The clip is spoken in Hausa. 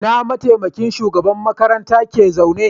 Ina mataimakin shugaban makarantar ke zaune?